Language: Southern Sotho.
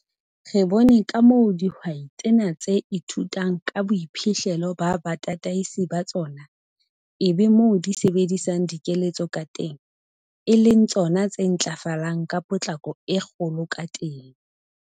Re bone ka moo dihwai tsena tse ithutang ka boiphihlelo ba batataisi ba tsona - ebe moo di sebedisang dikeletso ka teng - e leng tsona tse ntlafalang ka potlako e kgolo ka teng.